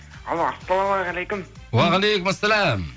алло ассалаумағалейкум уағалейкум ассалям